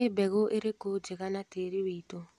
Nĩ mbegũ irĩkũ njega na tĩri witũ.